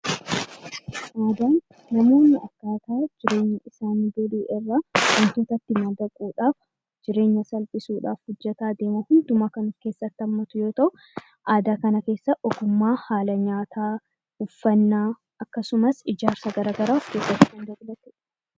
Aadaan namoonni jireenya akkaataa Isa duriirraa salphisuudhaaf hojjataa deemuu fi idduma kam keessatti of keessatti hammatu yoo ta'u, aadaa kana keessa ogummaa nyaataa , uffataa, akkasumas ijaarsa garaagaraatu jira